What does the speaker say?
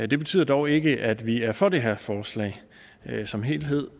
det betyder dog ikke at vi er for det her forslag som helhed